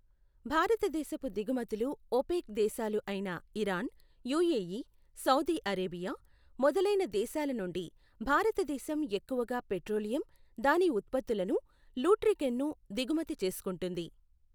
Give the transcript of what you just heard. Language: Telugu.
భారతదేశపు దిగుమతులు ఒపెక్ దేశాలు అయిన ఇరాన్, యుఏఈ, సౌధీ అరేబియా, మొదలయిన దేశాలనుండి భారతదేశం ఎక్కువగా పెట్రోలియం, దాని ఉత్పత్తులను లూట్రికెన్ను దిగుమతి చేసుకుంటుంది.